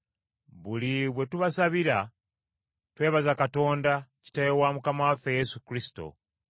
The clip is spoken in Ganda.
Buli bwe tubasabira, twebaza Katonda, Kitaawe wa Mukama waffe Yesu Kristo.